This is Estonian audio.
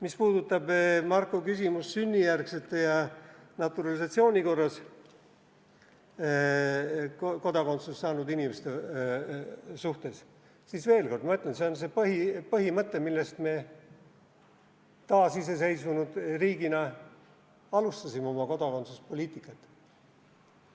Mis puudutab Marko küsimust sünnijärgsete ja naturalisatsiooni korras kodakondsuse saanud inimeste kohta, siis veel kord ma ütlen, see on see põhimõte, millest me taasiseseisvunud riigina oma kodakondsuspoliitikat alustasime.